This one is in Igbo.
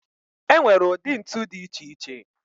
E nwere ụdị ntu dị iche iche